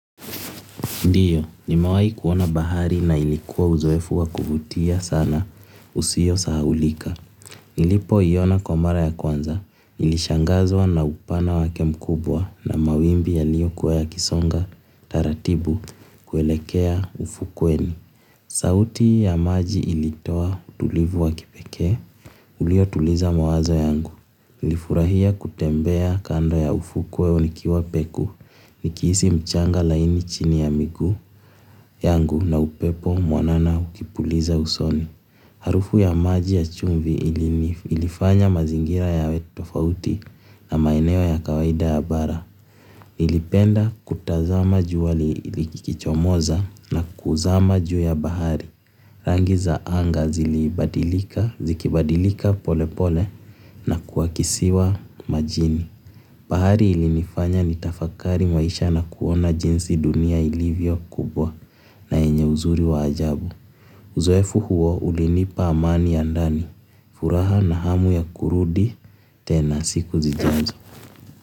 Ndiyo, nimewahi kuona bahari na ilikuwa uzoefu wa kuvutia sana usiyo sahaulika nilipoiona kwa mara ya kwanza nilishangazwa na upana wake mkubwa na mawimbi yaliyokuwa yakisonga taratibu kuelekea ufukweni. Sauti ya maji ilitoa utulivu wa kipeke, ulio tuliza mawazo yangu. Nilifurahia kutembea kando ya ufukuwe nikiwa peku. Nikihisi mchanga laini chini ya miguu yangu na upepo mwanana ukipuliza usoni. Harufu ya maji ya chumvi ilifanya mazingira yawe tofauti na maeneo ya kawaida ya bara. Nilipenda kutazama jua likichomoza na kuzama juu ya bahari. Rangi za anga zilibadilika, zikibadilika pole pole na kuakisiwa majini. Bahari ilinifanya nitafakari maisha na kuona jinsi dunia ilivyo kubwa na yenye uzuri wa ajabu. Uzoefu huo ulinipa amani ya ndani. Furaha na hamu ya kurudi tena siku zijazo.